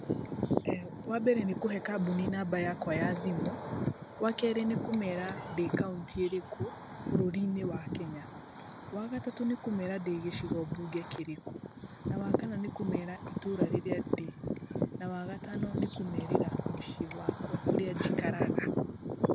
Wambere, nĩ kũhe kambuni namba yakwa ya thimũ. Wakerĩ, nĩ kũmera ndĩ kauntĩ ĩrĩkũ bũrũri-inĩ wa Kenya. Wa gatatũ, nĩ kũmera ndĩ gĩcigo mbunge kĩrĩkũ. Na wa kana, nĩ kũmera itũra rĩrĩa ndĩ. Na wa gatano, nĩ kũmerĩra mũciĩ wakwa kũrĩa njikaraga.